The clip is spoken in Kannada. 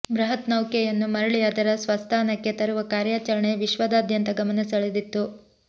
ಬೃಹತ್ ನೌಕೆಯನ್ನು ಮರಳಿ ಅದರ ಸ್ವಸ್ಥಾನಕ್ಕೆ ತರುವ ಕಾರ್ಯಾಚರಣೆ ವಿಶ್ವದಾದ್ಯಂತ ಗಮನ ಸೆಳೆದಿತ್ತು